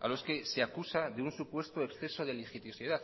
a los que se acusa de un supuesto exceso de litigiosidad